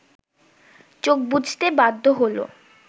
চোখ বুজতে বাধ্য হলো